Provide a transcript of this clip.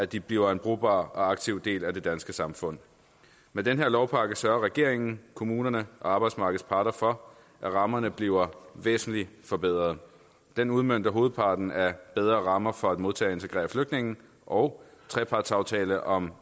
de bliver en brugbar og aktiv del af det danske samfund med den her lovpakke sørger regeringen kommunerne og arbejdsmarkedets parter for at rammerne bliver væsentlig forbedret den udmønter hovedparten af bedre rammer for at modtage og integrere flygtninge og trepartsaftale om